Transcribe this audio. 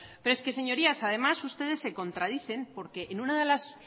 pero es que señorías además ustedes se contradicen porque en una de las